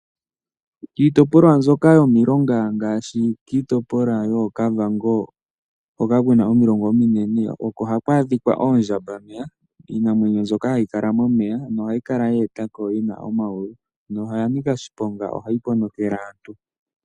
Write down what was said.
Kiitopolwa mbyoka yomilonga ngaashi Kiitopolwa yooKavango hoka kuna omilonga ominene oko haku adhika oondjambameya. Iinamwenyo mbyoka hayi kala momeya , omo hayi kala yeetako yina omayulu noyanika oshiponga ohayi ponokele aantu.